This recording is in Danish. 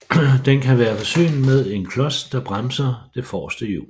Den kan være forsynet med en klods der bremser det forreste hjul